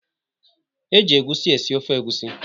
E ji egwusi esi ofe.